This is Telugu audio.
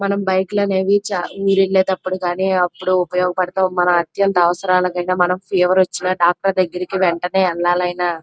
ఇక్కడ చూసినట్టు అయితే చాలా మంది ఉన్నారు ఇక్కడ ఒక ప్లేస్ అనేది కూడా మనకి ఉంది.